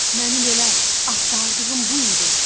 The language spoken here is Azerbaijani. Mənim elə axtardığım bu idi.